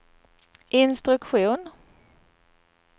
instruktion